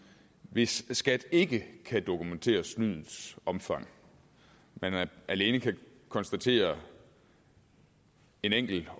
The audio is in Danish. hvis skat ikke kan dokumentere snydets omfang men alene kan konstatere en enkelt